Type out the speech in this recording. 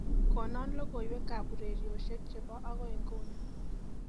konon logoiwek ab ureryosyek chebo agoi inguni